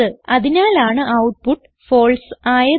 അതിനാലാണ് output false ആയത്